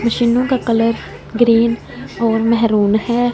मशीनों का colour green और मेहरून है।